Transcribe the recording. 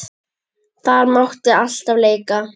Þar mátti alltaf leika.